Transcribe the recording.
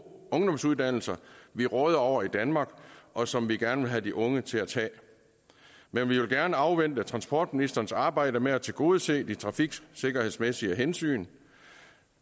ungdomsuddannelser vi råder over i danmark og som vi gerne vil have de unge til at tage men vi vil gerne afvente transportministerens arbejde med at tilgodese de trafiksikkerhedsmæssige hensyn